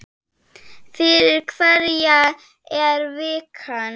Fyrir hverja er vikan?